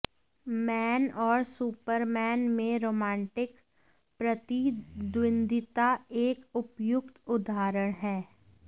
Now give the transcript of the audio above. man और Superman में romantic प्रतिद्वंद्विता एक उपयुक्त उदाहरण है